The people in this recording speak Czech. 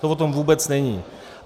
To o tom vůbec není.